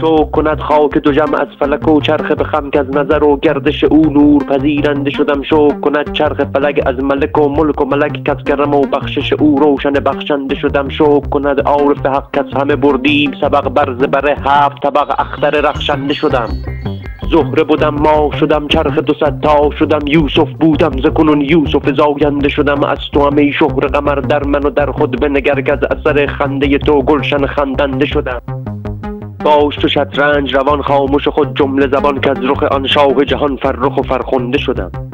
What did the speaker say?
شکر کند خاک دژم از فلک و چرخ به خم کز نظر و گردش او نور پذیرنده شدم شکر کند چرخ فلک از ملک و ملک و ملک کز کرم و بخشش او روشن بخشنده شدم شکر کند عارف حق کز همه بردیم سبق بر زبر هفت طبق اختر رخشنده شدم زهره بدم ماه شدم چرخ دو صد تاه شدم یوسف بودم ز کنون یوسف زاینده شدم از توام ای شهره قمر در من و در خود بنگر کز اثر خنده تو گلشن خندنده شدم باش چو شطرنج روان خامش و خود جمله زبان کز رخ آن شاه جهان فرخ و فرخنده شدم